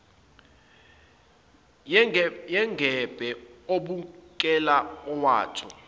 yengebhe ubukeka ewotha